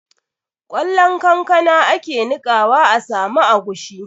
Ƙwallon kankana ake niƙawa a samu agushi